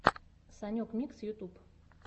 санек микс ютьюб